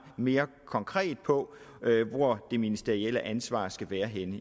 mere konkret på hvor det ministerielle ansvar skal være